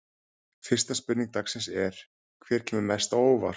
Fyrsta spurning dagsins er: Hver kemur mest á óvart?